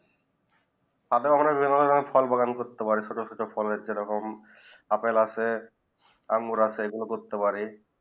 সাথে বাগান করতে পারে ছোট ছোট ফল বাগান আপেল আছে অঙ্গুর আছে এই গুলু করতে পারে